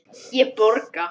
Ég borga.